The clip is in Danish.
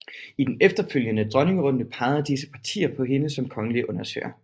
I den efterfølgende dronningerunde pegede disse partier på hende som kongelig undersøger